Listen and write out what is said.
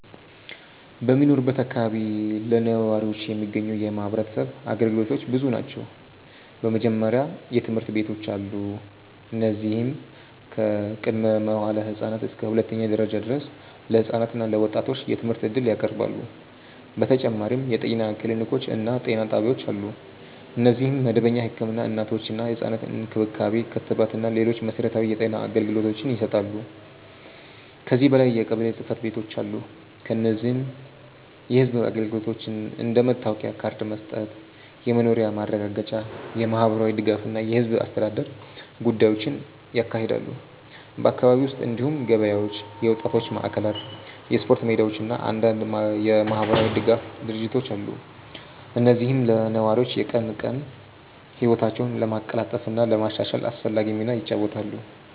በምኖርበት አካባቢ ለነዋሪዎች የሚገኙ የማህበረሰብ አገልግሎቶች ብዙ ናቸው። በመጀመሪያ ትምህርት ቤቶች አሉ፣ እነዚህም ከቅድመ-መዋዕለ ህፃናት እስከ ሁለተኛ ደረጃ ድረስ ለህፃናት እና ለወጣቶች የትምህርት እድል ያቀርባሉ። በተጨማሪም የጤና ክሊኒኮች እና ጤና ጣቢያዎች አሉ፣ እነዚህም መደበኛ ህክምና፣ እናቶችና ህፃናት እንክብካቤ፣ ክትባት እና ሌሎች መሠረታዊ የጤና አገልግሎቶችን ይሰጣሉ። ከዚህ በላይ የቀበሌ ጽ/ቤቶች አሉ፣ እነዚህም የህዝብ አገልግሎቶችን እንደ መታወቂያ ካርድ መስጠት፣ የመኖሪያ ማረጋገጫ፣ የማህበራዊ ድጋፍ እና የህዝብ አስተዳደር ጉዳዮችን ያካሂዳሉ። በአካባቢው ውስጥ እንዲሁም ገበያዎች፣ የወጣቶች ማዕከላት፣ የስፖርት ሜዳዎች እና አንዳንድ የማህበራዊ ድጋፍ ድርጅቶች አሉ፣ እነዚህም ለነዋሪዎች የቀን ቀን ህይወታቸውን ለማቀላጠፍ እና ለማሻሻል አስፈላጊ ሚና ይጫወታሉ።